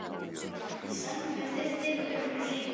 Í sama mund er dyrabjöllunni hringt.